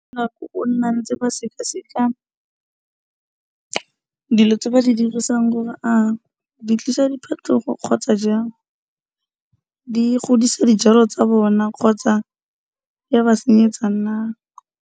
O ne a ntse ba sekaseka dilo tse ba di dirisang gore a di tlisa diphetogo kgotsa jang, di godisa dijalo tsa bona kgotsa di a ba senyetsa na.